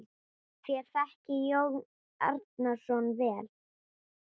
Þér þekkið Jón Arason vel.